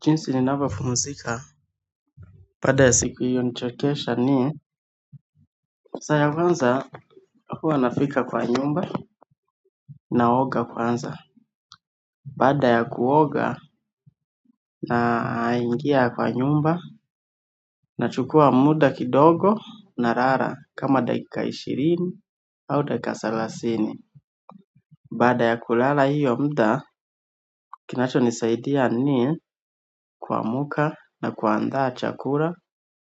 Jinsi ninavyopumzika, baada ya siku iliyonichokesha ni, saa ya kwanza huwa nafika kwa nyumba naoga kwanza. Baada ya kuoga na ingia kwa nyumba na chukua muda kidogo na lala kama dakika ishirini au dakika thelathini. Baada ya kulala hiyo muda, kinacho nisaidia ni kuamka na kuandaa chakula